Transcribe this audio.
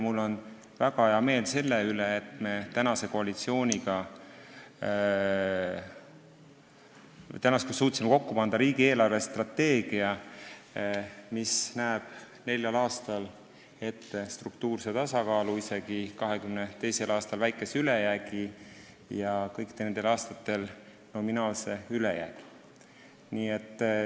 Mul on väga hea meel selle üle, et tänane koalitsioon suutis kokku panna riigi eelarvestrateegia, mis näeb neljal aastal ette struktuurse tasakaalu, 2022. aastal isegi väikese ülejäägi, ja kõikidel nendel aastatel nominaalse ülejäägi.